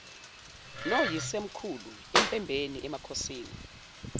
noyisemkhulu empembeni emakhosini